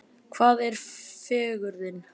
Hvað er fegurðin?